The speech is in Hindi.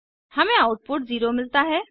हमें आउटपुट 0 मिलता है